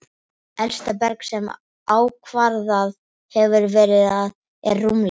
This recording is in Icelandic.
Elsta berg, sem ákvarðað hefur verið, er rúmlega